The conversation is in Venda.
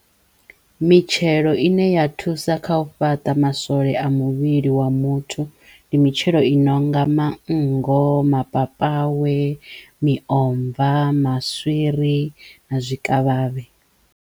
Mitshelo i ne ya thusa kha u fhaṱa maswole a muvhili wa muthu ndi mitshelo i nonga manngo, mapapawe, miomva, maswiri na zwikavhavhe.